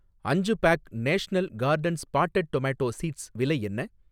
அஞ்சு pack National Gardens potted tomato seeds விலை என்ன?